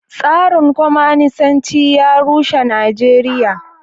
Tsarin kwamanisanci ya rushe a Najeriya.